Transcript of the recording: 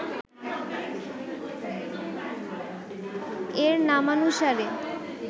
এর নামানুসারে